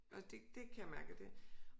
Og det kan jeg mærke at det